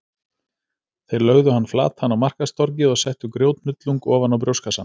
Þeir lögðu hann flatan á markaðstorgið og settu grjóthnullung ofan á brjóstkassann.